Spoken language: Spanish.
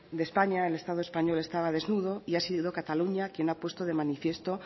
de españa el estado español estaba desnudo y ha sido cataluña quien ha puesto de manifiesto